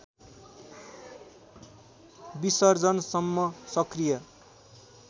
विसर्जनसम्म सक्रिय